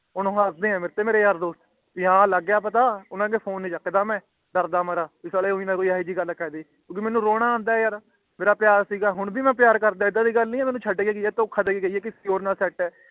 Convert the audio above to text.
ਹੋਣ ਊ ਹੱਸਦੇ ਆ ਮੇਰੇ ਯਾਰ ਦੋਸਤ ਭੀ ਹੈ ਲੱਗ ਗਯਾ ਪਤਾ ਉਨ੍ਹਾਂ ਦਾ ਫੋਨ ਨੀ ਚੱਕਦਾ ਮੈਂ ਦ੍ਰ੍ਰ ਦੇ ਮਾਰੇ ਭੀ ਏਹੋ ਜੀ ਕੋਈ ਗੱਲ ਨਾ ਕਹਿ ਦੇਣ ਕਿਇਕੀ ਮੇਨੂ ਰੋਣਾ ਆਂਦਾ ਹੈ ਯਾਰ ਮੇਰਾ ਪਿਆਰ ਸੀਗਾ ਹੋਣ ਵੀ ਮਈ ਪਿਆਰ ਕਰਦਾ ਇੱਦਾ ਦੀ ਗੱਲ ਨੀ ਕਿ ਮੈਨੂੰ ਛੱਡ ਕ ਗਈ ਹੈ ਦੋਖ ਦੇਕੇ ਗਈ ਹੈ ਕਿ ਕਿਸੇ ਹੋਰ ਨਾਲ ਸੈੱਟ ਹੈ